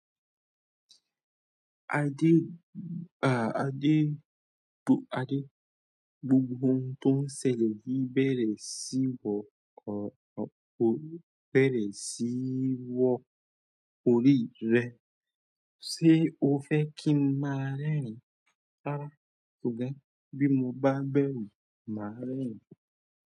Ade, ah Ade, Ade gbogbo ohun tó ń ṣẹlẹ̀ yí bẹ̀rẹ̀ sí wọ̀ ọ̀ ọ́ bẹ̀rẹ̀ sí wọ̀ orí rẹ. Ṣé o fẹ́ kí n má rẹ̀rin rárá ṣùgbọ́n. Bí mo bá bẹ̀rù, màá rẹ́rin.